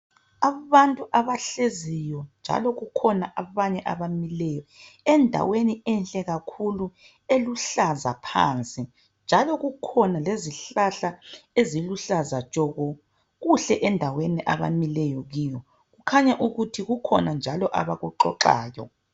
Abantu abahleziyo njalo kukhona abanye abamileyo endaweni enhle kakhulu eluhlaza phansi njalo kukhona lezihlahla eziluhlaza tshoko. Kuhle endaweni abamileyo kiyo kukhanya ukuthi kukhona njalo abakuxoxayo.